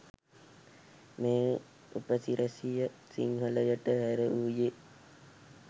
මේ උපසි‍රැසිය සිංහලට හැරවූයේ